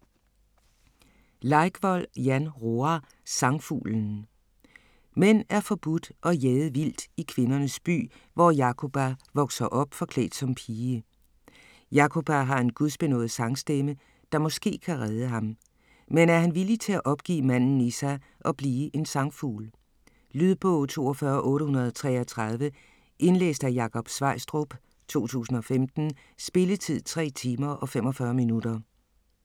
Leikvoll, Jan Roar: Sangfuglen Mænd er forbudt og jaget vildt i kvindernes by, hvor Jakoba vokser op, forklædt som pige. Jakoba har en gudsbenådet sangstemme, der måske kan redde ham. Men er han villig til at opgive manden i sig og blive en sangfugl? Lydbog 42833 Indlæst af Jakob Sveistrup, 2015. Spilletid: 3 timer, 45 minutter.